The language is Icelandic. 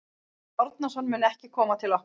Kári Árnason mun ekki koma til okkar.